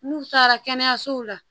N'u taara kɛnɛyasow la